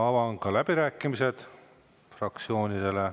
Avan läbirääkimised fraktsioonidele.